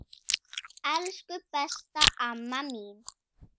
Elsku besta amma mín.